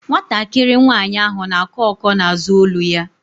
Nwatakịrị nwaanyị ahụ na-akọ ọ́kọ́ na-azụ olu ya.